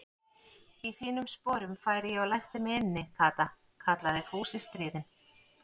Í þínum sporum færi ég og læsti mig inni, Kata kallaði Fúsi stríðinn.